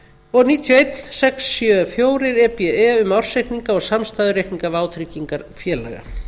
og níutíu og einn sex hundruð sjötíu og fjögur e b e um ársreikninga og samstæðureikninga vátryggingafélaga